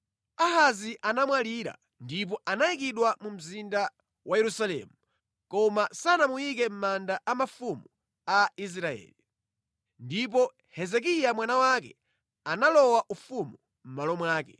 Ahazi anamwalira ndipo anayikidwa mu mzinda wa Yerusalemu, koma sanamuyike mʼmanda a mafumu a Israeli. Ndipo Hezekiya mwana wake analowa ufumu mʼmalo mwake.